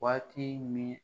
Waati min